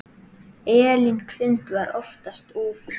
Elín Hrund var oftast úfin.